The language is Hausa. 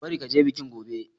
Ka bari ka je bikin gobe!